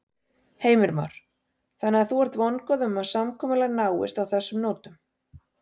Heimir Már: Þannig að þú ert vongóð um að samkomulag náist á þessum nótum?